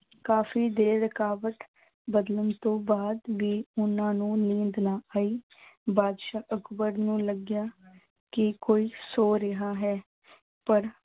ਕਾਫ਼ੀ ਦੇਰ ਕਰਵਟ ਬਦਲਣ ਤੋਂ ਬਾਅਦ ਵੀ ਉਹਨਾਂ ਨੂੰ ਨੀਂਦ ਨਾ ਆਈ ਬਾਦਸ਼ਾਹ ਅਕਬਰ ਨੂੰ ਲੱਗਿਆ ਕਿ ਕੋਈ ਸੌ ਰਿਹਾ ਹੈ ਪਰ